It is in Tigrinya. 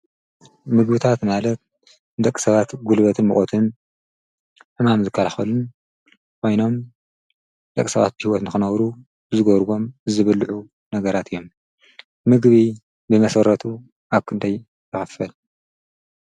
ምግብታት ማለት ደቂ ሰባት ጕልበትን ምቖትን ሕማም ዝካልኸሉን ኮይኖም ደቂ ሰባት ብህይወት ንኽነብሩ ዝጐርዎም ዝብልዑ ነገራት እዮም ምግቢ ብመሰረቱ ኣብኽንደይ ይክፈል?